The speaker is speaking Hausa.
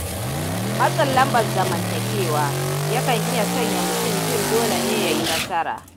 Matsin lambar zamantakewa, yakan iya sanya mutum jin dole ne yayi nasara.